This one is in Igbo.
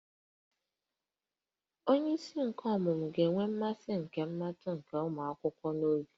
Onyeisi nke ọmụmụ ga-enwe mmasị nke mmụta nke ụmụ akwụkwọ n'obi